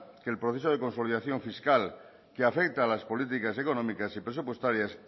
que el proceso de consolidación fiscal que afecta a las políticas económicas y presupuestarias